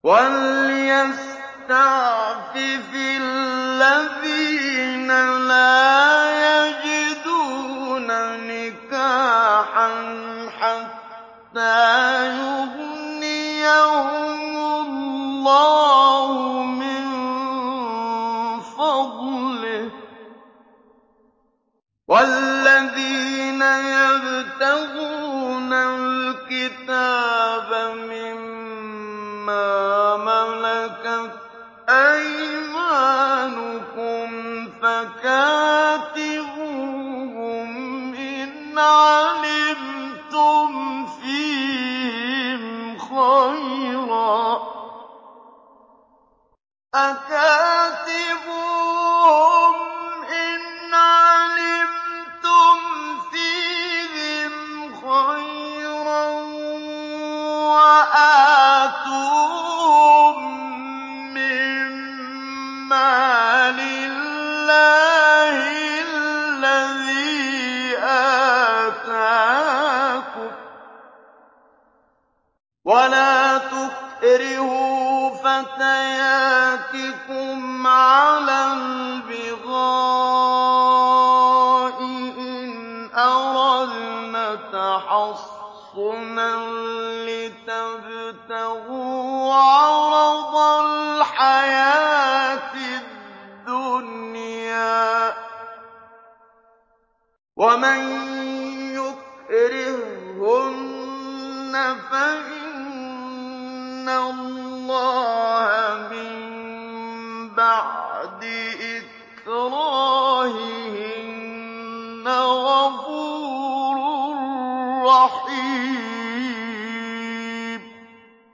وَلْيَسْتَعْفِفِ الَّذِينَ لَا يَجِدُونَ نِكَاحًا حَتَّىٰ يُغْنِيَهُمُ اللَّهُ مِن فَضْلِهِ ۗ وَالَّذِينَ يَبْتَغُونَ الْكِتَابَ مِمَّا مَلَكَتْ أَيْمَانُكُمْ فَكَاتِبُوهُمْ إِنْ عَلِمْتُمْ فِيهِمْ خَيْرًا ۖ وَآتُوهُم مِّن مَّالِ اللَّهِ الَّذِي آتَاكُمْ ۚ وَلَا تُكْرِهُوا فَتَيَاتِكُمْ عَلَى الْبِغَاءِ إِنْ أَرَدْنَ تَحَصُّنًا لِّتَبْتَغُوا عَرَضَ الْحَيَاةِ الدُّنْيَا ۚ وَمَن يُكْرِههُّنَّ فَإِنَّ اللَّهَ مِن بَعْدِ إِكْرَاهِهِنَّ غَفُورٌ رَّحِيمٌ